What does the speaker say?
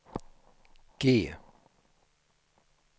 G